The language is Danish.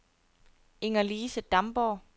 Inger-Lise Damborg